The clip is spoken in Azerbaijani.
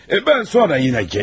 Mən sonra yenə gələrəm.